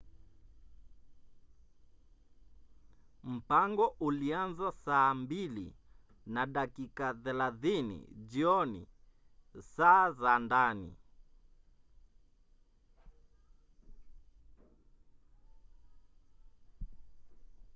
mpango ulianza saa 2 na dakika 30 jioni saa za ndani 15.00 utc